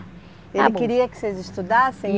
Ele queria que vocês estudassem,